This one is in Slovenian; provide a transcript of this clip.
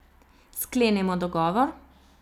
Sklenemo dogovor?